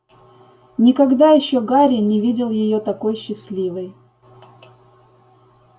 никогда ещё гарри не видел её такой счастливой